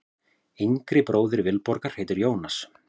Yngri bróðir Vilborgar heitir Jónas.